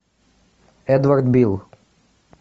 эдвард бил